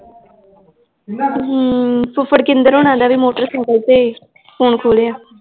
ਹਮ ਫੁਫੜ ਕਿੰਦਰ ਉਨਾਂ ਦਾ ਵੀ ਮੋਟਰਸਾਈਕਲ ਤੇ ਫੋਨ ਖੋ ਲਿਆ l